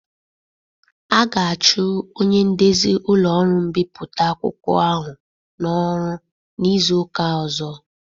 A ga-achụ onye ndezi ụlọ ọrụ mbipụta akwụkwọ ahụ n'ọrụ n'izu ụka ọzọ.